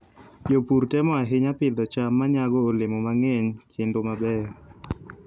Jopur temo ahinya pidho cham ma nyago olemo mang'eny kendo mabeyo.